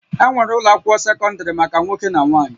Enwere ụlọ akwụkwọ sekọndrị maka nwoke na nwanyị